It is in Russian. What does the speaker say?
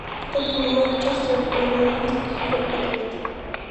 кто принимает участие в паралимпийских играх ответ